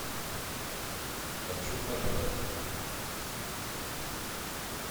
хочу пожрать